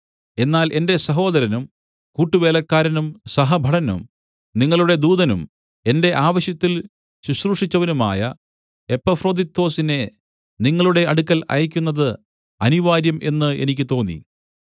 എന്നാൽ എന്റെ സഹോദരനും കൂട്ടുവേലക്കാരനും സഹഭടനും നിങ്ങളുടെ ദൂതനും എന്റെ ആവശ്യത്തിൽ ശുശ്രൂഷിച്ചവനുമായ എപ്പഫ്രൊദിത്തൊസിനെ നിങ്ങളുടെ അടുക്കൽ അയയ്ക്കുന്നത് അനിവാര്യം എന്ന് എനിക്ക് തോന്നി